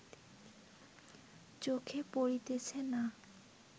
চোখে পড়িতেছে না